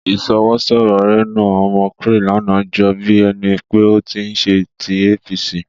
Ìṣọwọ́sọ̀rọ̀ Reno Omokri lánàá jọ bí ẹni pé ó ti ń ṣe tí APC.